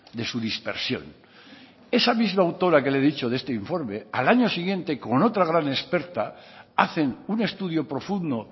de su dispersión esa misma autora que le he dicho de este informe al año siguiente con otra gran experta hacen un estudio profundo